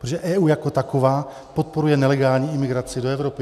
Protože EU jako taková podporuje nelegální imigraci do Evropy.